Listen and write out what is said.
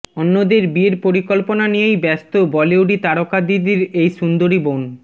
অন্যদের বিয়ের পরিকল্পনা নিয়েই ব্যস্ত বলিউডি তারকা দিদির এই সুন্দরী বোন